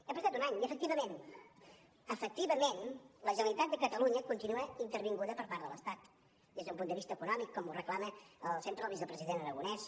ha passat un any i efectivament efectivament la generalitat de catalunya continua intervinguda per part de l’estat des d’un punt de vista econòmic com ho reclama sempre el vicepresident aragonès